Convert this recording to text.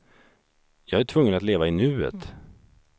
Jag är tvungen att leva i nuet.